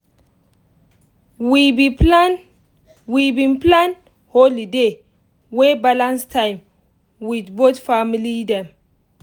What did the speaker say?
we been plan we been plan holiday wey balance time with both family dem